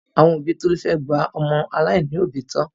Àwọn òbí Tolú fẹ́ gba ọmọ aláìní òbí tọ́.